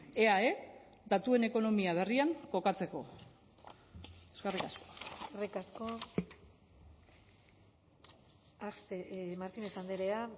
eae datuen ekonomia berrian kokatzeko eskerrik asko eskerrik asko axpe martinez andrea